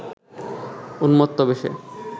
উম্মত্ত বেশে